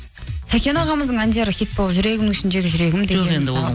сәкен ағамыздың әндері хит болды жүрегімнің ішіндегі жүрегім деген мысалы